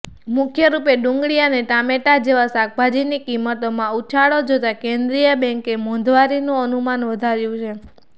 મુખ્યરૂપે ડુંગળી અને ટામેટા જેવા શાકભાજીની કિંમતોમાં ઉછાળો જોતાં કેન્દ્રીય બેન્કે મોંઘવારીનું અનુમાન વધાર્યુ છે